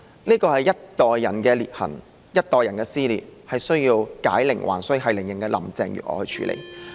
這是一代人的裂痕，一代人的撕裂，是需要繫鈴人林鄭月娥去處理的。